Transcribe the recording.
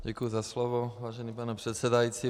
Děkuji za slovo, vážený pane předsedající.